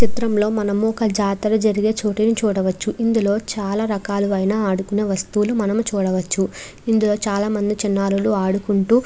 చిత్రం లో మనము ఒక జాతర జరిగే చోటుని చూడవచ్చు ఇందులో చాల రకాలవైన ఆడుకునే వస్తువులు మనం చూడవచ్చు ఇందులో చాల మంది చిన్నారులు ఆడుకుంటూ --